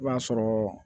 I b'a sɔrɔ